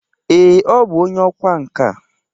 Ee, ọ bụ onye ọkwa nka.